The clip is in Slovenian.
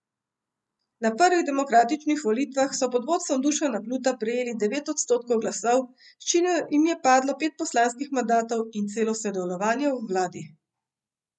Na prvih demokratičnih volitvah so pod vodstvom Dušana Pluta prejeli devet odstotkov glasov, s čimer jim je pripadlo pet poslanskih mandatov in celo sodelovanje v vladi.